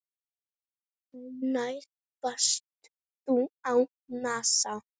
Hvenær varst þú á NASA?